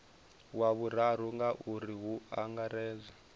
wa vhuraru ngauri hu angaredzwa